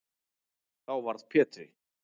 Þá varð Pétri